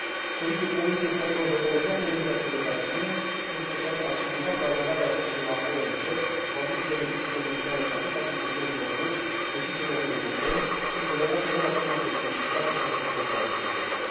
Solicit Comisiei să aibă în vedere toate mijloacele de acțiune pentru a se asigura că aderarea Rusiei la OMC va aduce beneficii comerciale atât agricultorilor ruși, cât și celor europeni și că relația nu va fi una dezechilibrată, ca în multe alte situații.